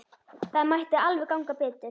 Það mætti alveg ganga betur.